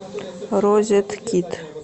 розеткед